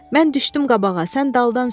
Mən düşdüm qabağa, sən daldan sür.